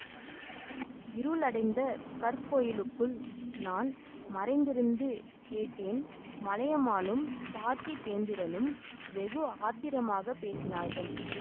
இருளடைந்த கற்கோயிலுக்குள் நான் மறைந்திருந்து கேட்டேன் மலையமானும் பார்த்திபேந்திரனும் வெகு ஆத்திரமாகப் பேசினார்கள்